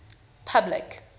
public